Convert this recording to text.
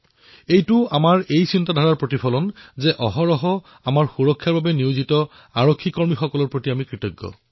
সেয়াও আমাৰ চিন্তাধাৰাৰেই প্ৰতিবিম্ব যত আমি ভাবোঁ যে দেশে সেই পুৰুষ আৰু মহিলা আৰক্ষীসকলৰো প্ৰতি কৃতজ্ঞ হব লাগে যি সকলো সময়তে আমাৰ সুৰক্ষাৰ সৈতে জড়িত